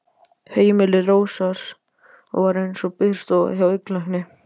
Heimili Rósars var eins og biðstofa hjá augnlækni.